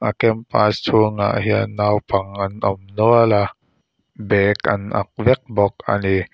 a campus chhungah hian naupang an awm nual a bag an an vek bawk ani.